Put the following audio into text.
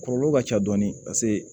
Kɔlɔlɔ ka ca dɔɔni paseke